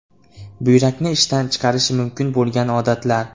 Buyrakni ishdan chiqarishi mumkin bo‘lgan odatlar.